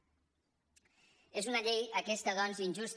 és una llei aquesta doncs injusta